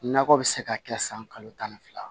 Nakɔ bɛ se ka kɛ san kalo tan ni fila